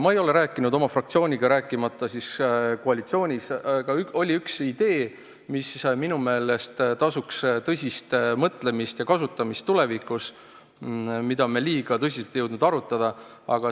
Ma ei ole rääkinud oma fraktsiooniga, rääkimata siis koalitsioonist, aga oli üks idee, mis minu meelest vääriks tõsist mõtlemist ja kasutamist tulevikus, kuid mida me liiga tõsiselt ei jõudnud arutada.